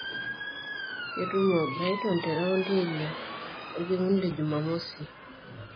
Ketumo o Brighton te raundi eile orkekun le jumamosi